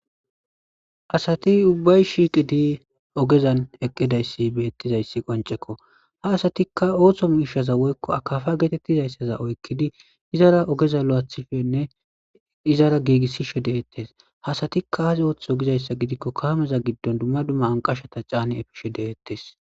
asati ubbay shiiqi di ogezan eqqidayssi beettizayssi qoncekko ha asatikka ooththo mi ishaza woykko akafa geetettizayssaza oykkidi izara ogeza lo7athifenne izara giigissishe deettes hasatikkaaas ooththo gizayssa gidikko kaameza giddon dumma dumma anqashata caani efishe deettes